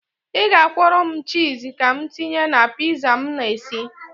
Ị ga-akwọrọ m chịz ka m tinye na piza m na-esi.